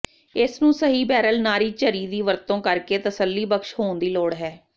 ਇਸ ਨੂੰ ਸਹੀ ਬੈਰਲ ਨਾਰੀ ਝਰੀ ਦੀ ਵਰਤੋ ਕਰਕੇ ਤਸੱਲੀਬਖ਼ਸ਼ ਹੋਣ ਦੀ ਲੋੜ ਹੈ